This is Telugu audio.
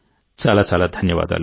చాలా చాలా ధన్యవాదాలు